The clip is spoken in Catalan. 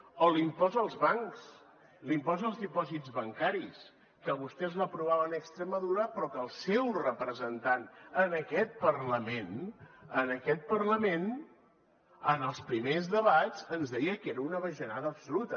o l’impost als bancs l’impost als dipòsits bancaris que vostès l’aprovaven a extremadura però que el seu representant en aquest parlament en aquest parlament en els primers debats ens deia que era una bajanada absoluta